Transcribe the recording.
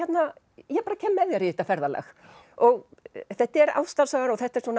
ég bara kem með þér í þetta ferðalag og þetta er ástarsaga og þetta er svona